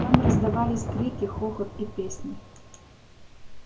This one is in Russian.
там раздавались крики хохот и песни